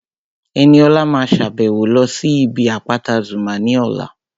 Ẹniọlá máa sàbẹ̀wo lọ sí ibi àpáta Zuma ní ọ̀la